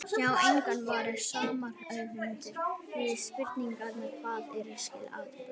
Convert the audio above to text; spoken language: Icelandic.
Sjá einnig svar sama höfundar við spurningunni Hvað er að skilja atburð?